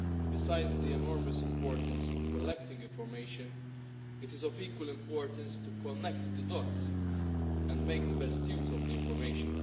Besides the enormous importance of collecting information, it is equally important to join up the dots and make the best use of the information.